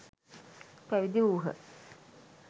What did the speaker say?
පැවිදි වූහ.